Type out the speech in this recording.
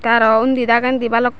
te araw undi dagendi balok.